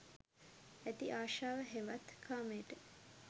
ඇති අශාව හෙවත් කාමයට